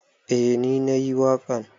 Eh ni na yi waƙan.